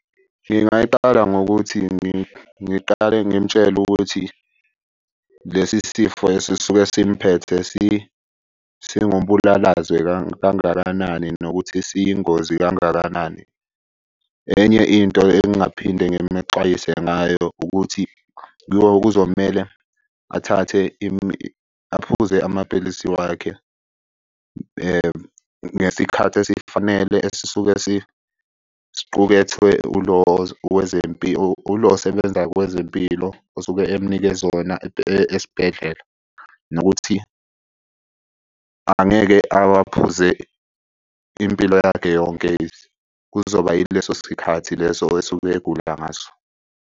Ngingayiqala ngokuthi ngiqale ngimtshele ukuthi lesi sifo esisuke simphethe singumbulalazwe kangakanani, nokuthi siyingozi kangakanani. Enye into engingaphinde ngimexwayise ngayo ukuthi kuzomele athathe . Aphuze amaphilisi wakhe ngesikhathi esifanele esisuke siqukethwe ulo , ulo osebenza kwezempilo osuke emnikeze wona esibhedlela. Nokuthi angeke awaphuze impilo yakhe yonke. Kuzoba yileso sikhathi leso osuke egula ngaso.